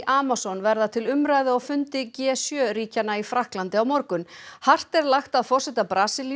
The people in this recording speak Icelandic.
Amazon verða til umræðu á fundi g sjö ríkjanna í Frakklandi á morgun hart er lagt að forseta Brasilíu